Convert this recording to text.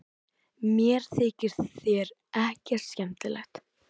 Mér þykja þeir ekkert skemmtilegir